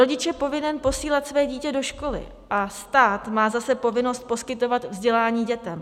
Rodič je povinen posílat své dítě do školy a stát má zase povinnost poskytovat vzdělání dětem.